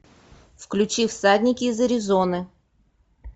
включи всадники из аризоны